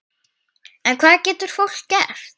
En hvað getur fólk gert?